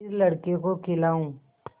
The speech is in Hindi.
फिर लड़के को खेलाऊँ